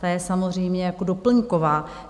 Ta je samozřejmě jako doplňková.